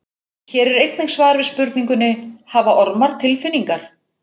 Hér er einnig svar við spurningunni: Hafa ormar tilfinningar?